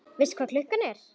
Veistu hvað klukkan er?